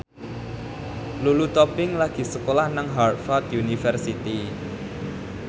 Lulu Tobing lagi sekolah nang Harvard university